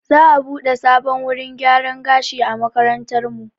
Za'a buɗe sabon wurin gyaran gashi a makarantarmu.